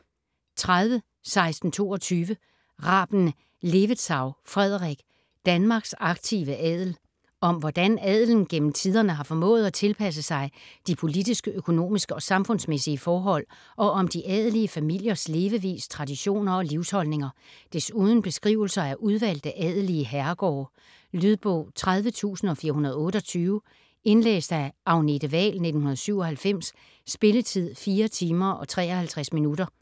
30.1622 Raben-Levetzau, Frederik: Danmarks aktive adel Om hvordan adelen gennem tiderne har formået at tilpasse sig de politiske, økonomiske og samfundsmæssige forhold, og om de adelige familiers levevis, traditioner og livsholdninger. Desuden beskrivelser af udvalgte adelige herregårde. Lydbog 30428 Indlæst af Agnete Wahl, 1997. Spilletid: 4 timer, 53 minutter.